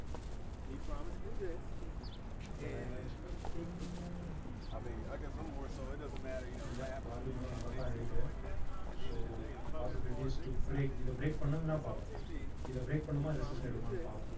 but i am expecting இல்ல volume எல்லாம் நல்லாத்தான் இருக்கு so possibilities to break இத break பண்ணதுன்னா பார்ப்போம் இத break பண்ணுமா எடுமான்னு பார்ப்போம்